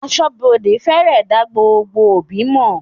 Aṣọ́bodè fèrè dá gbogbo òbí mọ̀.